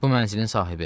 Bu mənzilin sahibi.